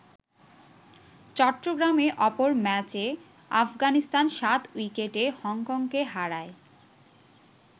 চট্টগ্রামে অপর ম্যাচে আফগানিস্তান ৭ উইকেটে হংকংকে হারায়।